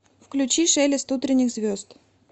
включи шелест утренних звезд